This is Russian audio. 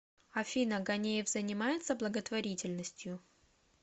афина ганеев занимается благотворительностью